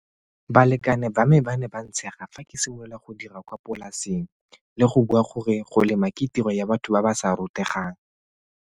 Balekane ba me ba ne ba ntshega fa ke simolola go dira kwa polaseng le go bua gore go lema ke tiro ya batho ba ba sa rutegang.